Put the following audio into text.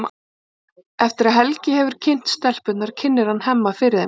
Eftir að Helgi hefur kynnt stelpurnar kynnir hann Hemma fyrir þeim.